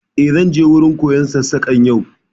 Eh, zan je wurin koyon Sassaƙan yau